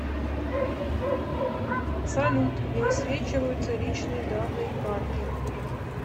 салют не высвечиваются личные данные карты